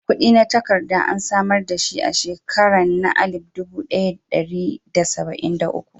Kudi na takarka an samar da shi a shekaran na alip dubu daya da dari da sabain da uku.